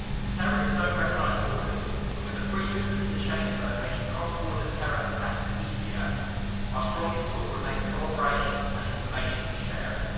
Terrorists do not recognise borders and, with the free movement in the Schengen zone making cross-border terror attacks easier, our strongest tool remains cooperation and information sharing.